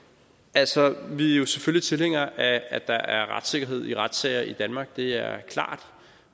altså vi er jo selvfølgelig tilhængere af at der er retssikkerhed i retssager i danmark det er klart